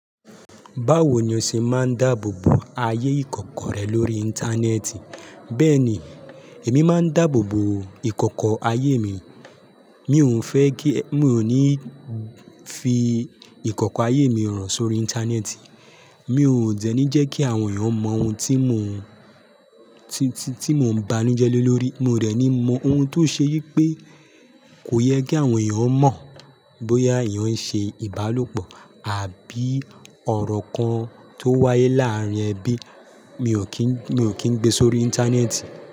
Báwo ni o ṣe máa ń dáàbò bo ayé ìkọ̀kọ̀ rẹ lórí íńtánẹ́ẹ̀tì? Bẹ́ẹ̀ni, èmi máa ń dáàbò bo ìkọ̀kọ̀ ayé mi. Mi ò ń fẹ́ kí, mi ò ní fi ìkọ̀kọ̀ ayé mi hàn sórí íńtánẹ́ẹ̀tì. Mi ò dẹ́ní jẹ́ kí àwọn èèyàn mọ ohun tí mò ń ti ti ti mo ń banújẹ́ le lórí. Mi ò dẹ́ni mọ ohun tó ṣe yí pé kò yẹ kí àwọn èèyàn mọ̀ bóyá èèyàn ń ṣe ìbálòpọ̀ àbí ọ̀rọ̀ kan tó wáyé láàárín ẹbí, mi ò kí n mi ò kín gbé sórí íńtánẹ́ẹ̀tì.